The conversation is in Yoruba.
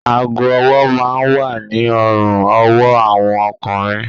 Aago-ọwọ́ máa ń wà ní ọrùn-ọwọ́ àwọn ọkùnrin